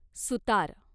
सुतार